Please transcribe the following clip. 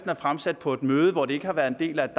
er fremsat på et møde hvor det ikke har været en del af et